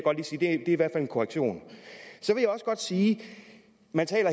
i hvert fald en korrektion så vil jeg også godt sige at man